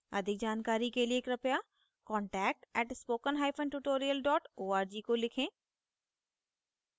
अधिक जानकारी के लिए कृपया contact @spokentutorial org को लिखें